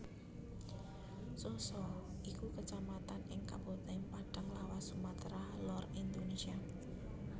Sosa iku Kecamatan ing Kabupatèn Padang Lawas Sumatra Lor Indonesia